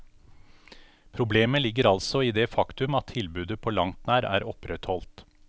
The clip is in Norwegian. Problemet ligger altså i det faktum at tilbudet på langt nær er opprettholdt.